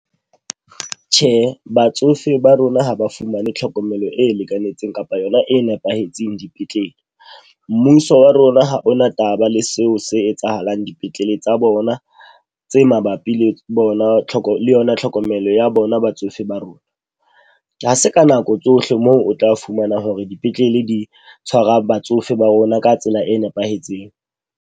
Tjhe, batsofe ba rona ha ba fumane tlhokomelo e lekanetseng kapa yona e nepahetseng dipetlele. Mmuso wa rona ha o na taba le seo se etsahalang dipetlele tsa bona tse mabapi le bona tlhoko le yona ya tlhokomelo ya bona batsofe ba rona. Ha se ka nako tsohle moo o tla fumana hore dipetlele di tshwarang batsofe ba rona ka tsela e nepahetseng.